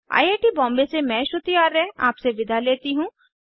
I I T Bombay से मैं श्रुति आर्य आपसे विदा लेती हूँ